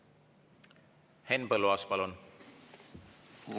Henn Põlluaas, palun!